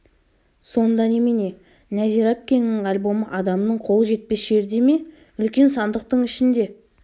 сонда немене нәзира әпкеңнің альбомы адамның қолы жетпес жерде ме үлкен сандықтың ішінде